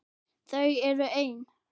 Þau eru ein.